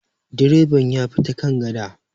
direban ya bi ta kan gada